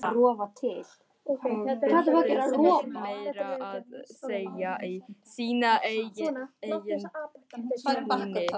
Og villtist meira að segja í sínu eigin túni.